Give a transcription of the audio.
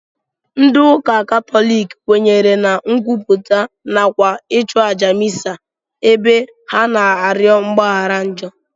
Ndị ụka katọlik kwenyere na nkwupụta nakwa ịchụ àjà misa ebe ha na-arịọ mgbaghara njọ